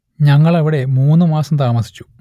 ഞങ്ങൾ അവിടെ മൂന്ന് മാസം താമസിച്ചു